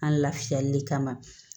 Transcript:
An lafiyali kama